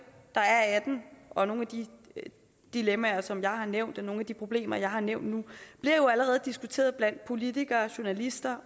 der er af den og nogle af de dilemmaer som jeg har nævnt og nogle af de problemer jeg har nævnt nu bliver jo allerede diskuteret blandt politikere journalister